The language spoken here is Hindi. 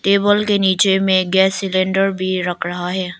टेबल के नीचे में गैस सिलेंडर भी रख रहा है।